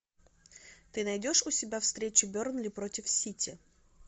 ты найдешь у себя встречу бернли против сити